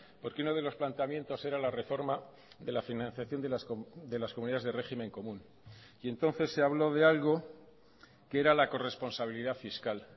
porque uno de los planteamientos era la reforma de la financiación de las comunidades de régimen común y entonces se habló de algo que era la corresponsabilidad fiscal